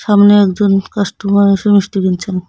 সামনে একজন কাস্টমার এসে মিষ্টি কিনছেন।